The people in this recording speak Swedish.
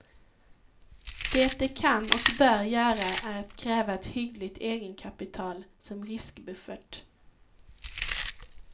Det de kan och bör göra är att kräva ett hyggligt egenkapital som riskbuffert.